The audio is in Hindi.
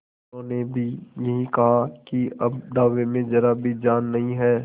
उन्होंने भी यही कहा कि अब दावे में जरा भी जान नहीं है